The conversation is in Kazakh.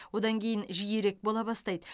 одан кейін жиірек бола бастайды